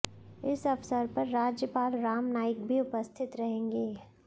इस अवसर पर राज्यपाल रामनाईक भी उपस्थित रहेंगे